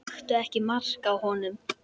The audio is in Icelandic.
Taktu ekki mark á honum.